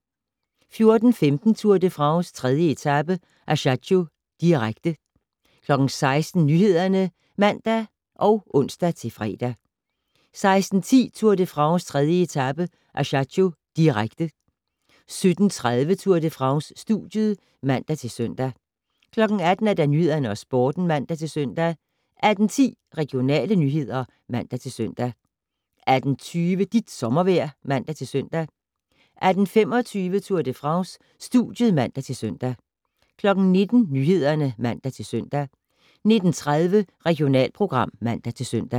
14:15: Tour de France: 3. etape - Ajaccio, direkte 16:00: Nyhederne (man og ons-fre) 16:10: Tour de France: 3. etape - Ajaccio, direkte 17:30: Tour de France: Studiet (man-søn) 18:00: Nyhederne og Sporten (man-søn) 18:10: Regionale nyheder (man-søn) 18:20: Dit sommervejr (man-søn) 18:25: Tour de France: Studiet (man-søn) 19:00: Nyhederne (man-søn) 19:30: Regionalprogram (man-søn)